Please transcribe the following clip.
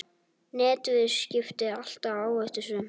Netviðskipti alltaf áhættusöm